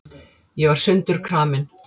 Ég var sundurkramin.